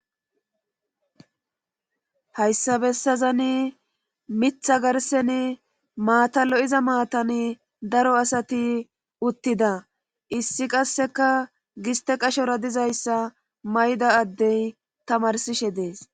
hayssa bessazani mitha garseni maatallo7iza maatan daro asati uttida issi qasseka giste qashora dizayssa mayda addey tamarsishe dees